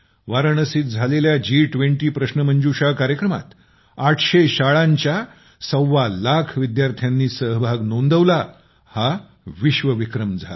वाराणसीत झालेल्याजी २० प्रश्नमंजुषा कार्यक्रमात ८०० शाळांच्या सव्वालाख विद्यार्थ्यांनी सहभाग नोंदवला हा विश्वविक्रम होता